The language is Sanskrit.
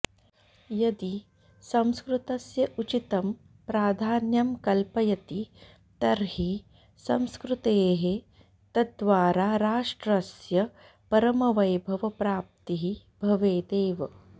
यदि संस्कृतस्य उचितं प्राधान्यं कल्पयति तर्हि संस्कृतेः तद्वारा राष्ट्रस्य परमवैभवप्राप्तिः भवेदेव